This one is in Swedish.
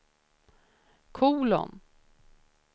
kolon